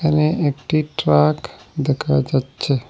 এখানে একটি ট্রাক দেখা যাচ্ছে।